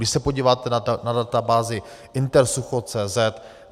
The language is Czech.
Když se podíváte na databázi intersucho.cz